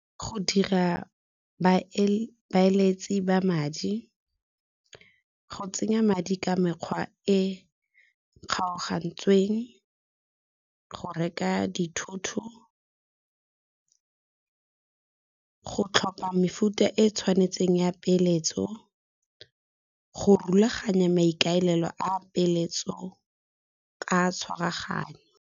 Go dira baeeletsi ba madi, go tsenya madi ka mekgwa e kgaogantsweng, go reka dithoto, go tlhopha mefuta e e tshwanetseng ya peeletso, go rulaganya maikaelelo a peeletso ka tshwaraganyo.